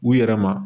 U yɛrɛ ma